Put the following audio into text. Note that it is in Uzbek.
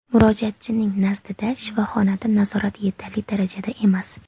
Murojaatchining nazdida shifoxonada nazorat yetarli darajada emas.